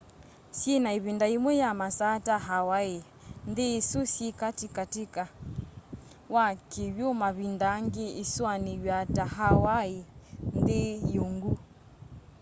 syina ivinda yimwe ya masaa ta hawaii nthi isu syi kati kati wa kiw'u mavinda angi isuaniawa ta hawaii nthi y'uungu